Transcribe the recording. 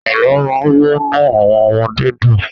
Àlọ́ máa ń múnú àwọn ọmọdé dùn.